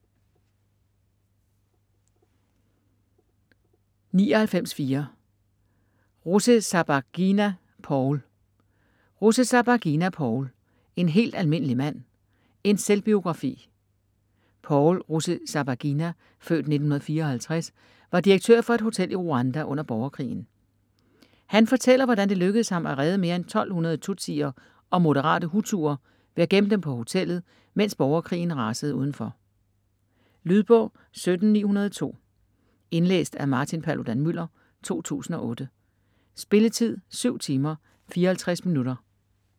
99.4 Rusesabagina, Paul Rusesabagina, Paul: En helt almindelig mand: en selvbiografi Paul Rusesabagina (f. 1954) var direktør for et hotel i Rwanda under borgerkrigen. Han fortæller, hvordan det lykkedes ham at redde mere end 1200 tutsier og moderate hutuer ved at gemme dem på hotellet, mens borgerkrigen rasede udenfor. Lydbog 17902 Indlæst af Martin Paludan-Müller, 2008. Spilletid: 7 timer, 54 minutter.